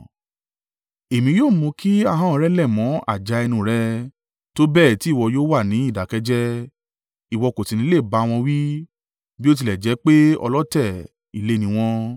Èmi yóò mú kí ahọ́n rẹ lẹ̀ mọ́ àjà ẹnu rẹ, tó bẹ́ẹ̀ ti ìwọ yóò wà ní ìdákẹ́ jẹ́ẹ́. Ìwọ kò sì ní lè bá wọn wí, bí ó tilẹ̀ jẹ́ pé ọlọ̀tẹ̀ ilé ní wọn.